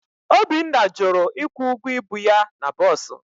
Obinna jụrụ ịkwụ ụgwọ ibu ya na bọs